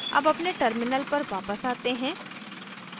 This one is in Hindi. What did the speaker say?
अब अपने terminal पर वापस आते हैं